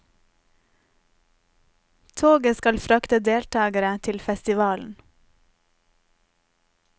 Toget skal frakte deltagere til festivalen.